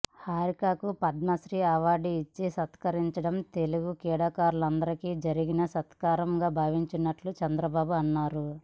హారికకు Padma Shri award ఇచ్చి సత్కరించడం తెలుగు క్రీడాకారులందరికీ జరిగిన సత్కారంగా భావిస్తున్నట్లు చంద్రబాబు అన్నారు